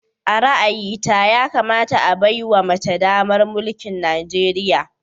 A ra'ayita, yakamata a baiwa mace damar mulkin Najeriya